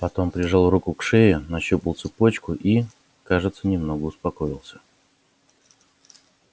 потом прижал руку к шее нащупал цепочку и кажется немного успокоился